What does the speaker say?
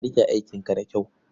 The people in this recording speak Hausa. Ka riƙe aikin da kyau.